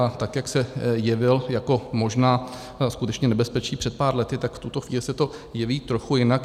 A tak jak se jevil jako možná skutečné nebezpečí před pár lety, tak v tuto chvíli se to jeví trochu jinak.